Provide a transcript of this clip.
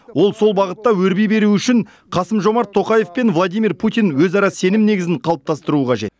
ол сол бағытта өрби беруі үшін қасым жомарт тоқаев пен владимир путин өзара сенім негізін қалыптастыруы қажет